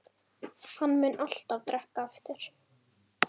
Hann mun alltaf drekka aftur.